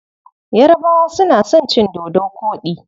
Yarabawa suna son cin dodo koɗi.